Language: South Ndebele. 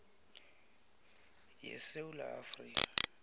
ye sewula afrika